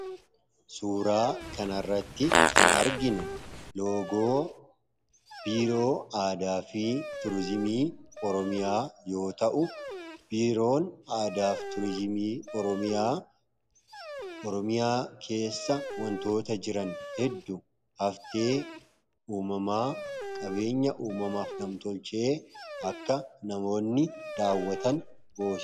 Suuraa kanarratti kan arginu loogoo biiroo aadaa fi turizimii oromiyaa yoo ta'u, biiroon aadaa fi turizimii oromiyaa , oromiyaa keessa wantoota jiran hedduu haftee uumamaa fi qabeenyaa nam-tolchee akka namoonni daawwatan goosisa.